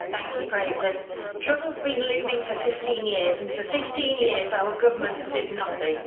Madam President, trouble has been looming for 15 years and for 15 years our governments did nothing.